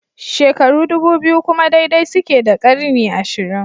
Shekaru ɗubu biyu kuma daidai suke da ƙarni ashirin